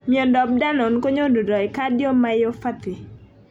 Miondop danon konyonundoi cardiomyopathy.